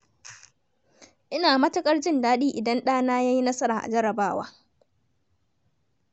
Ina matuƙar jin daɗi idan ɗana ya yi nasara a jarrabawa.